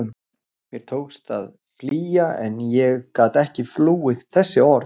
Mér tókst að flýja en ég gat ekki flúið þessi orð.